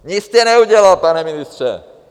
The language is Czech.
Nic jste neudělal, pane ministře!